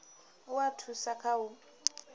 u a thusa kha u